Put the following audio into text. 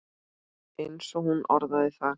eins og hún orðaði það.